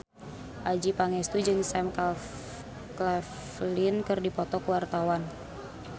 Adjie Pangestu jeung Sam Claflin keur dipoto ku wartawan